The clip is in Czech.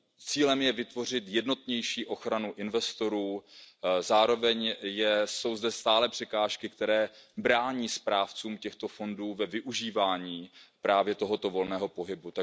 Cílem je vytvořit jednotnější ochranu investorů, zároveň jsou zde stále překážky, které brání správcům těchto fondů ve využívání právě tohoto volného pohybu.